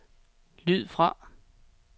lyd fra